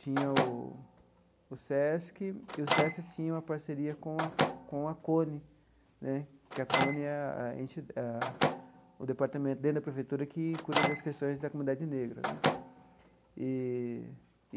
tinha o o SESC, e o SESC tinha uma parceria com a com a CONE né, que a CONE é a enti ah o departamento dentro da prefeitura que cuida das questões da comunidade negra né eee.